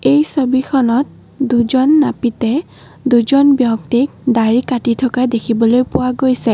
এই ছবিখনত দুজন নাপিতে দুজন ব্যক্তিক দাড়ি কাটি থকা দেখিবলৈ পোৱা গৈছে।